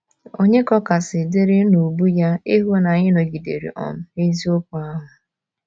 Ònye ka ọ kasị dịrị n’ubu ya ịhụ na anyị nọgidere um n’eziokwu ahụ?